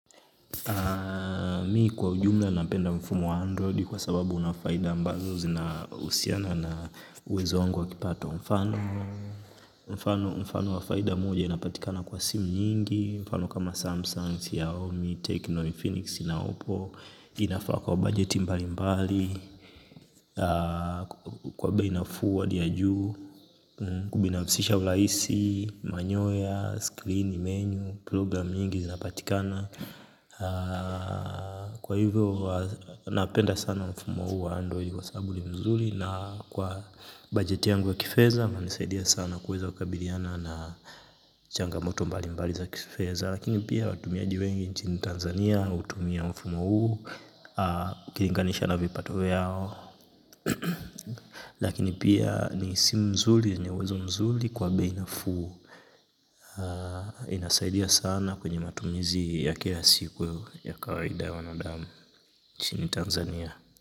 Mi kwa ujumla napenda mfumo wa Android kwa sababu unafaida ambazo zinahusiana na uwezo wangu wa kipato mfano. Mfano, mfano wa faida moja inapatikana kwa simu nyingi. Mfano kama Samsung, Xiaomi, Tecno, Phoenix na Oppo. Inafaa kwa budget mbali mbali. Kwa bei nafuu hadi ya juu. Kubinafsisha urahisi, manyoya, screen, menu, program nyingi zinapatikana. Kwa hivyo, napenda sana mfumo huu wa android kwa sababu ni mzuri. Na kwa bajeti yangu wa kifedha, inanisaidia sana kuweza kukabiliana na changamoto mbali mbali za kifedha. Lakini pia, watumiaji wengi nchini Tanzania, hutumia mfumo huu ukilinganisha na vipato vyao. Lakini pia, ni simu nzuri yenye uwezo mzuri kwa binafsi. Inasaidia sana kwenye matumizi ya kila siku ya kawaida ya wanadamu nchini Tanzania.